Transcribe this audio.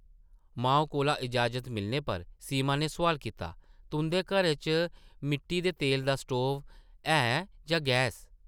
माऊ कोला इजाज़त मिलने पर सीमा नै सोआल कीता, ‘‘ तुंʼदे घरै च मिट्टी दे तेलै दा स्टोव ऐ जां गैस ?’’